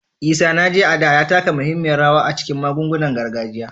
Isanaje, a da, ya taka muhimmiyar rawa a cikin magungunan gargajiya